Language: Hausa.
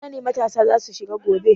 Ina ne matasa za su shiga gobe?